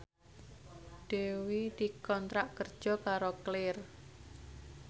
Dewi dikontrak kerja karo Clear